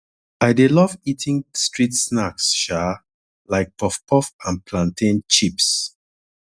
i dey love eating street snacks um like puffpuff and plantain chips